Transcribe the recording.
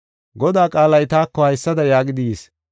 Godaa qaalay taako haysada yaagidi yis;